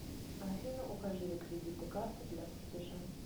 афина укажи реквизиты карты для платежа